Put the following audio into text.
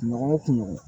Kunɲɔgɔn o kunɲɔgɔn